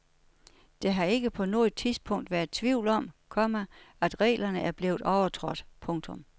Der har ikke på noget tidspunkt været tvivl om, komma at reglerne er blevet overtrådt. punktum